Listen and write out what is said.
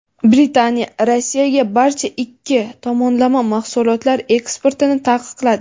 Britaniya Rossiyaga barcha ikki tomonlama mahsulotlar eksportini taqiqladi.